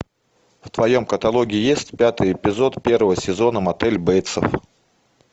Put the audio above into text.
в твоем каталоге есть пятый эпизод первого сезона мотель бейтсов